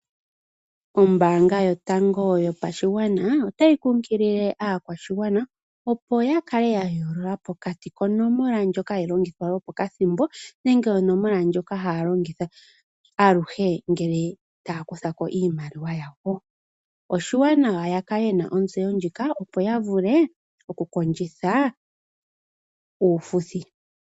Ombaanga yotango yopashigwana otayi kukilile aakwashigwana opo ya kale ya yoolola pokati konomola ndjoka hayi longithwa yo pokathimbo nenge onomola ndjoka haya longitha aluhe ngele taya kutha ko iimaliwa yayo, oshiwanawa ya kale ye na otseyo ndjika opo ya vule oku kondjitha uufuthi.